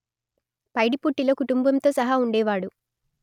పైడిపుట్టిలో కుటుంబంతో సహా ఉండేవాడు